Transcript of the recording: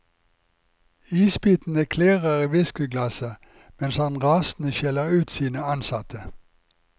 Isbitene klirrer i whiskeyglasset mens han rasende skjeller ut sine ansatte.